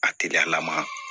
A teriya lama